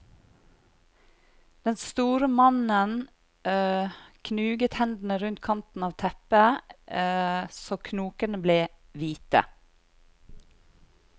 Den store mannen knuget hendene rundt kanten av teppet så knokene ble hvite.